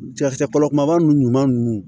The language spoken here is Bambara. kɔlɔ kunbaba ninnu ɲuman ninnu